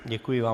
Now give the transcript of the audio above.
Děkuji vám.